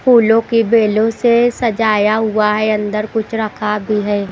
फूलों की बेलों से सजाया हुआ है अंदर कुछ रखा भी है।